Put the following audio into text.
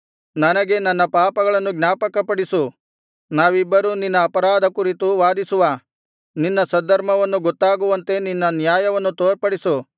ನನಗೆ ನನ್ನ ಪಾಪಗಳನ್ನು ಜ್ಞಾಪಕಪಡಿಸು ನಾವಿಬ್ಬರೂ ನಿನ್ನ ಅಪಾರಾಧ ಕುರಿತು ವಾದಿಸುವ ನಿನ್ನ ಸದ್ಧರ್ಮವು ಗೊತ್ತಾಗುವಂತೆ ನಿನ್ನ ನ್ಯಾಯವನ್ನು ತೋರ್ಪಡಿಸು